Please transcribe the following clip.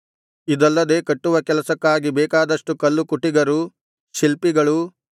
ಇದಲ್ಲದೆ ಕಟ್ಟುವ ಕೆಲಸಕ್ಕಾಗಿ ಬೇಕಾದಷ್ಟು ಕಲ್ಲುಕುಟಿಗರೂ ಶಿಲ್ಪಿಗಳೂ